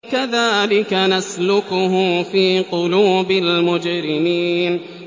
كَذَٰلِكَ نَسْلُكُهُ فِي قُلُوبِ الْمُجْرِمِينَ